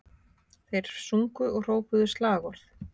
Þeir sungu og hrópuðu slagorð